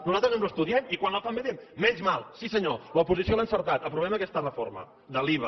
nosaltres ens ho estudiem i quan la fan bé diem menys mal sí senyor l’oposició l’ha encertat aprovem aquesta reforma de l’iva